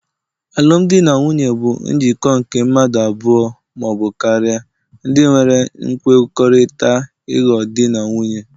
alụmdi na nwunye bụ njikọ nke mmadụ abụọ ma ọ bụ karịa, ndinwere nkwekọrịta ịghọ Di na nwunye